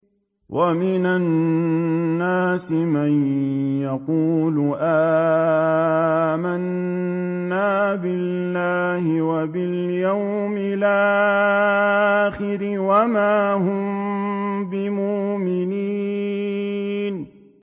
وَمِنَ النَّاسِ مَن يَقُولُ آمَنَّا بِاللَّهِ وَبِالْيَوْمِ الْآخِرِ وَمَا هُم بِمُؤْمِنِينَ